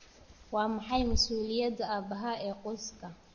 Waa maxay masuuliyadda aabaha ee qoyska?